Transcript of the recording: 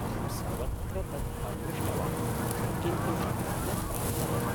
अहं सर्वत्र तत् अन्विष्टवान्, किन्तु न प्राप्नवम्।